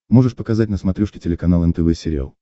можешь показать на смотрешке телеканал нтв сериал